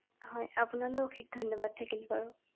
হয়, আপোনালৈ অশেষ ধন্যবাদ থাকিল বাৰু ৷